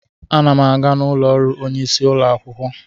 Ana m aga ụlọ ọrụ onye isi ụlọ akwụkwọ.